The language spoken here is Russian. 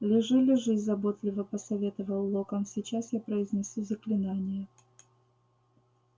лежи лежи заботливо посоветовал локонс сейчас я произнесу заклинание